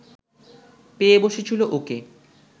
পেয়ে বসেছিল ওকে